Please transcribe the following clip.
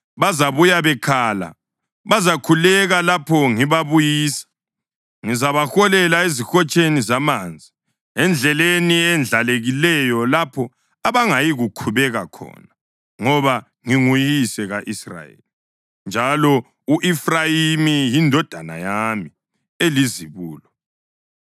Bazabuya bekhala; bazakhuleka lapho ngibabuyisa. Ngizabaholela ezihotsheni zamanzi endleleni eyendlalekileyo lapho abangayikukhubeka khona, ngoba nginguyise ka-Israyeli, njalo u-Efrayimi yindodana yami elizibulo.